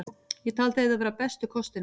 Ég taldi þetta vera bestu kostina.